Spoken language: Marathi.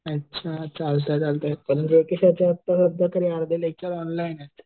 अच्छा चालतंय चालतंय पण जेके शहाचे वाटतं तरी अर्धे लेक्चर ऑनलाईन आहेत.